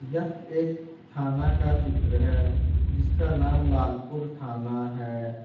यह एक थाना का चित्र है जिसका नाम लालपुर थाना है।